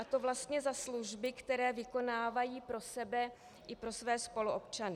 A to vlastně za služby, které vykonávají pro sebe i pro své spoluobčany.